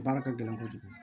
Baara ka gɛlɛn kojugu